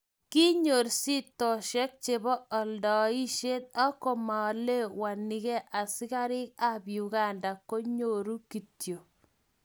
Kinyor shitoshek chebo aladaisiet ak komaelewanike askarik ab Uganda konyoru kityo.